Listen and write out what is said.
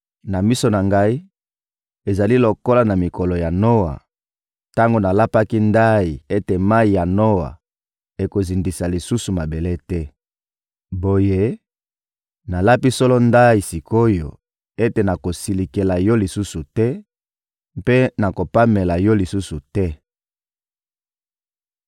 Na miso na Ngai, ezali lokola na mikolo ya Noa, tango nalapaki ndayi ete mayi ya Noa ekozindisa lisusu mabele te. Boye, nalapi solo ndayi sik’oyo ete nakosilikela yo lisusu te mpe nakopamela yo lisusu te.